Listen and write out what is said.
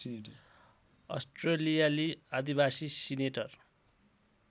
अस्ट्रेलियाली आदिवासी सिनेटर